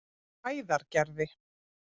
Hæðargerði